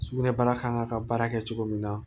Sugunɛbara kan ka baara kɛ cogo min na